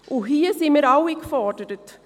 Hier sind wir alle gefordert.